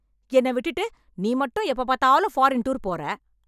என்ன விட்டுட்டு நீ மட்டும் எப்ப பார்த்தாலும் ஃபாரின் டூர் போற